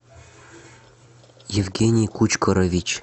евгений кучкорович